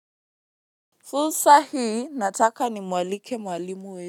Fursa hii nataka nimwalike mwalimu.